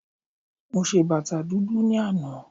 Mo ṣe bàtà dúdú ní àná